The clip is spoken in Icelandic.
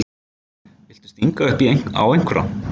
Viltu stinga upp á einhverri?